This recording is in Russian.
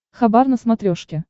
хабар на смотрешке